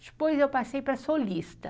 Depois eu passei para solista.